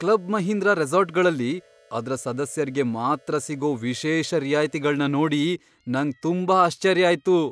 Club Mahindra ರೆಸಾರ್ಟ್ಗಳಲ್ಲಿ ಅದ್ರ ಸದಸ್ಯರ್ಗೆ ಮಾತ್ರ ಸಿಗೋ ವಿಶೇಷ ರಿಯಾಯ್ತಿಗಳ್ನ ನೋಡಿ ನಂಗ್ ತುಂಬಾ ಆಶ್ಚರ್ಯ ಆಯ್ತು.